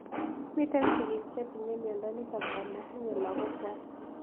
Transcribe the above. Miti sig'ik che tinyemindo nitok ama tinye lagok kwai